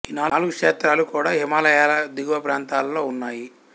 ఈ నాలుగు క్షేత్రాలు కూడా హిమాలయాల దిగువ ప్రాంతాలలో ఉన్నాయి